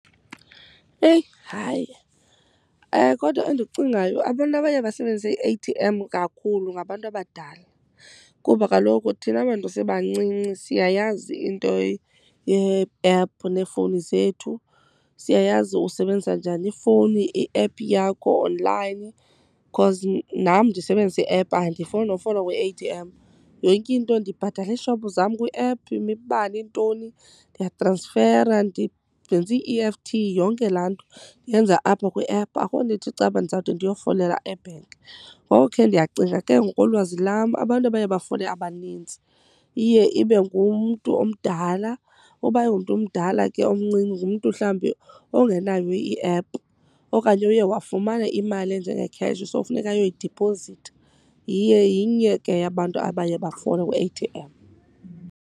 Eyi hayi, kodwa endikucingayo abantu abaye basebenzise i-A_T_M kakhulu ngabantu abadala, kuba kaloku thina bantu sebancinci siyayazi into ye-ephu neefowuni zethu. Siyayazi usebenzisa njani ifowuni, iephu yakho onlayini, because nam ndisebenzisa iephu andifoli nofola kwi-A_T_M. Yonke into, ndibhatala iishophu zam kwiephu, imibane, iintoni, ndiyatransfera ndenza ii-E_F_T, yonke laa nto ndiyenza apha kwiephu. Akho nto ithi caba ndizawude ndiyofolela ebhenki. Ngoku ke ndiyacinga ke ngokolwazi lam abantu abaye bafole abaninzi iye ibe ngumntu omdala. Uba ayingomntu omdala ke omncinci, ngumntu mhlawumbi ongenayo iephu okanye uye wafumana imali enjengekheshi so funeka ayoyidiphozitha. Yinye ke yabantu abaye bafole kwi-A_T_M.